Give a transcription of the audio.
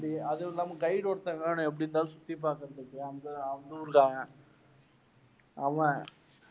அதுவுமில்லாம guide ஒருத்தன் வேணும் எப்படி இருந்தாலும் சுத்தி பாக்கறதுக்கு